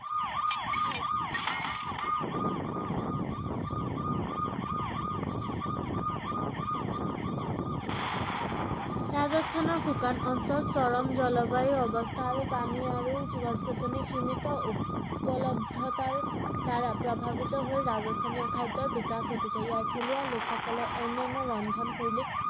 ৰাজস্থানৰ শুকান অঞ্চল, চৰম জলবায়ু অৱস্থা আৰু পানী আৰু গছ-গছনি সীমিত উপলব্ধতাৰ দ্বাৰা প্ৰভাৱিত হৈ ৰাজস্থানীয় খাদ্যৰ বিকাশ ঘটিছে ৷ ইয়াৰ থলুৱা লোকসকলৰ অনান্য ৰন্ধন শৈলীত